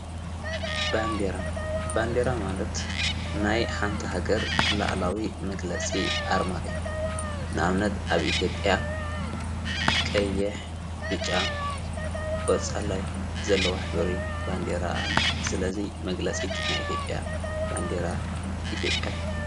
ባንዴራ ማለት ናይ ሓንታ ሃገር ለዓላዊ መግለጺ ኣርማ እዮ ንኣብነት ኣብ ኢቲዮጲያ ቀየሕ ብጫ ቖፃላዋይ ዘለዋ ሕብሪ ባንዴራ ኣለ ስለዙይ መግለጺት ናይኢቲዮያ ባንዴይራ ኢቲዮጲያ ትበሃል።